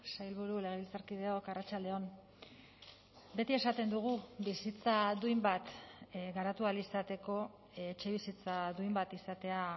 sailburu legebiltzarkideok arratsalde on beti esaten dugu bizitza duin bat garatu ahal izateko etxebizitza duin bat izatea